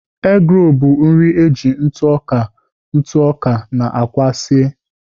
Eggroll bụ nri e ji ntụ ọka ntụ ọka na àkwá sie